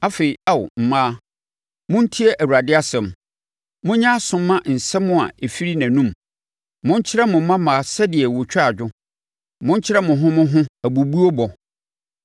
Afei, Ao mmaa, montie Awurade asɛm; monyɛ aso mma nsɛm a ɛfiri nʼanom. Monkyerɛ mo mmammaa sɛdeɛ wɔtwa dwo; monkyerɛ mo ho mo ho abubuo bɔ.